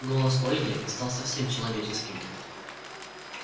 голос ольги стал совсем человеческим